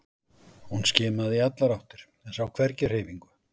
Hún skimaði í allar áttir en sá hvergi hreyfingu.